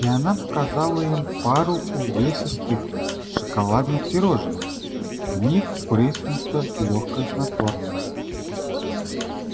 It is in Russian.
и она показала им пару увесистых шоколадных пирожных в них впрыснуто лёгкое снотворное